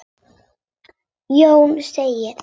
Jón segir: